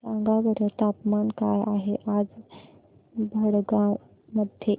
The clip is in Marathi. सांगा बरं तापमान काय आहे आज भडगांव मध्ये